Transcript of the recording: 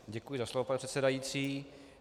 Děkuji za slovo, pane předsedající.